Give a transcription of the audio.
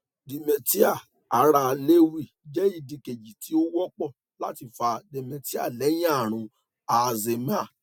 dementia ara lewy je idi keji ti o wonpo lati fa dementia lehin aarun alzheimer